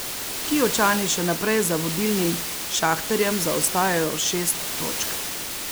Kijevčani še naprej za vodilnim Šahtarjem zaostajajo šest točk.